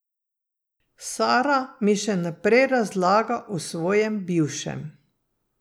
Sara mi še naprej razlaga o svojem bivšem.